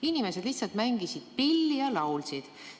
Inimesed lihtsalt mängisid pilli ja laulsid.